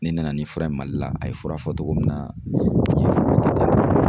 Ne nana ni fura ye Mali la, a ye fura fɔ cogo min na n ye fura